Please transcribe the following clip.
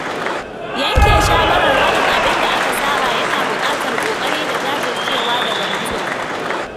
Yanke shawarar barin abinda aka saba yana buƙatar ƙoƙari da jajircewa daga mutum.